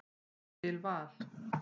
Ég vil Val.